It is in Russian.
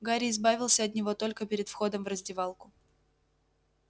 гарри избавился от него только перед входом в раздевалку